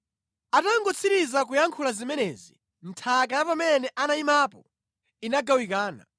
Atangotsiriza kuyankhula zimenezi, nthaka ya pamene anayimapo inagawikana